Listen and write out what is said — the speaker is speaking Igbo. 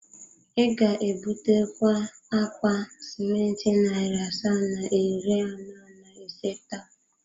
Ị ga-ebutakwa akpa simenti narị asaa na iri anọ na ise taa?